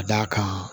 Ka d'a kan